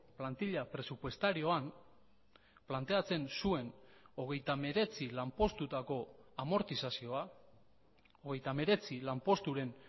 plantilla presupuestarioan planteatzen zuen hogeita hemeretzi lanpostutako amortizazioa hogeita hemeretzi lanposturen